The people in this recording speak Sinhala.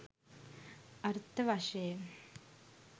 අර්ථ වශයෙන්